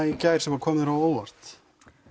í gær sem kom þér á óvart